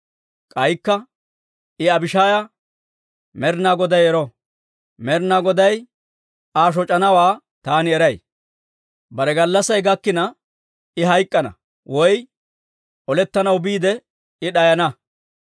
K'aykka I Abishaaya, «Med'inaa Goday ero! Med'inaa Goday Aa shoc'anawaa taani eray; bare gallassay gakkina I hayk'k'ana, woy olettanaw biide I d'ayana.